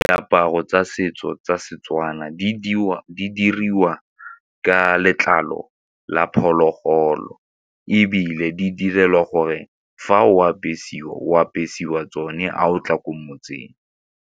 Diaparo tsa setso tsa Setswana di diriwa ka letlalo la phologolo ebile di direlwa gore fa o apesiwa, o apesiwa tsone ga o tla ko motseng.